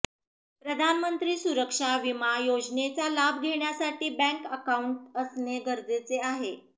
प्रधानमंत्री सुरक्षा वीमा योजनेचा लाभ घेण्यासाठी बॅंक अकाऊंट असणे गरजेचे आहे